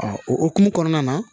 o hokumu kɔnɔna na